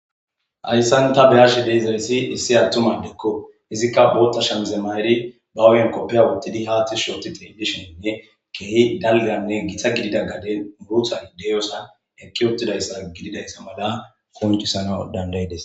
Hayssan tha be7ashe de7izayssi issi aththuma adekko; izikka booththa shamize mayiri ba hu7iyan koppeya woththidi haa ththi shshi ooththi xeellishenne keehi dalgganne githa gidida gaden boosay de7iyoosa eqqi uththidayssa gididayssa mala qonccisanawu danddayi des.